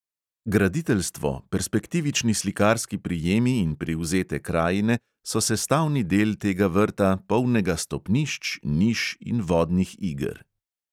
Graditeljstvo, perspektivični slikarski prijemi in privzete krajine so sestavni del tega vrta, polnega stopnišč, niš in vodnih iger.